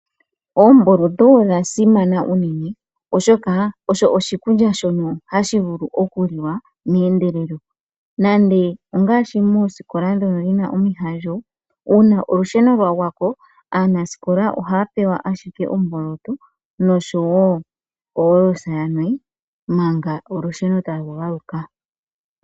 Oomboloto odha simana uunene, oshoka osho oshikulya shono hashi vulu oku liwa meendelelo. Nande ongaashi moosikola ndhono dhina omihandjo una olusheno lwa gwako aanasikola ohaya pewa ashike oomboloto noshowo oholosa yanwe manga olusheno talu galuka.